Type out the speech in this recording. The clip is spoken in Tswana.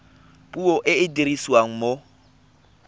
puo e e dirisiwang mo